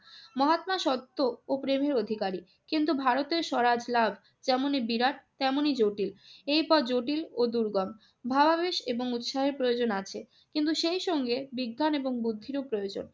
মহাত্মা সত্য ও প্রেমের অধিকারী। কিন্তু ভারতের স্বরাজ লাভ যেমনি বিরাট তেমনি জটিল। এই পথ জটিল ও দুর্গম। ভাবাবেশ এবং উৎসাহের প্রয়োজন আছে কিন্তু সেই সঙ্গে বিজ্ঞান ও বুদ্ধি প্রয়োজন।